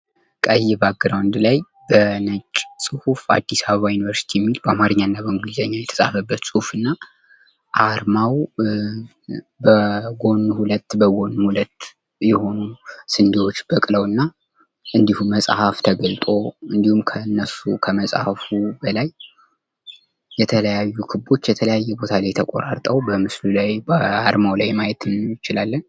ቀይ ባግራውንድ ላይ በነጭ ጽሁፍ አዲስ አበባ ዩኒቨርሲቲ የሚል በአማርኛ እና በእንግሊዘኛ የተፃፈበት ፅሑፍ እና አርማው በጐኑ ሁለት በጐኑ ሁለት የሆኑ ስንዴዎች በቅለው እና እንዲሁም መፅሐፍ ተገልጦ እንዲሁም ከእነሱ ከመጽሐፉ የተለያዩ ክቦች የተለያየ ቦታ ላይ ተቆራርጠው በምስሉ ላይ በአርማው ላይ ማየት እንችላለን።